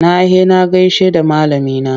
Na he na gaishe da malamina.